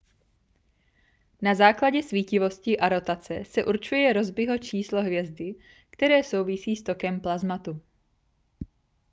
na základě svítivosti a rotace se určuje rossbyho číslo hvězdy které souvisí s tokem plazmatu